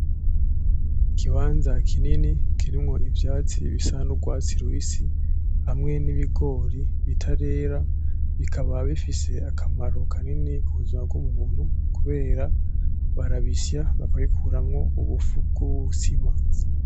Ikibanza kinini kirimwo ivyatsi bisa nk'urwatsi rubisi hamwe n'ibigori bitarera bikaba bifise akamaro kanini kubuzima bw'umuntu kubera barabisya bakabikuramo ubufu bw'ubuzima.